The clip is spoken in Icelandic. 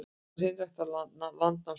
Þú ert hreinræktaður landnámsmaður.